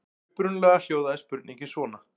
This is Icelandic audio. Upprunalega hljóðaði spurningin svona: